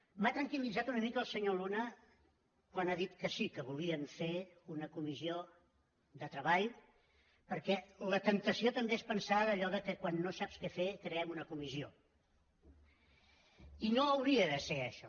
m’ha tranquillitzat una mica el senyor luna quan ha dit que sí que volien fer una comissió de treball perquè la temptació també és pensar allò que quan no saps què fer creem una comissió i no hauria de ser això